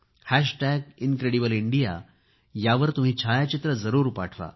hash tag incredible India यावर तुम्ही छायाचित्रे जरूर पाठवा